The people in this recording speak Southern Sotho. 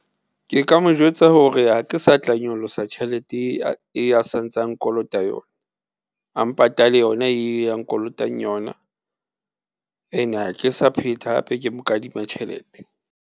Ke ka mo jwetsa hore, ha ke sa tla nyolosa tjhelete e a santsa nkolota yona, a mpatale yona e a nkolotang yona ene ha ke sa phetha hape ke mo kadima tjhelete.